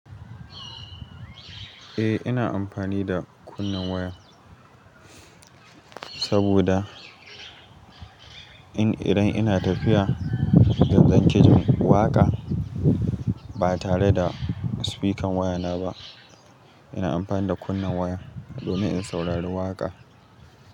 Eh, ina amfani da kunnen waya saboda in idan ina tafiya zan kejin waƙa ba tare da sifikan wayana ba, ina amfani da kunnen waya domin in saurari waƙa.